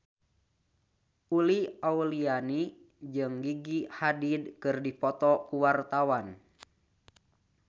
Uli Auliani jeung Gigi Hadid keur dipoto ku wartawan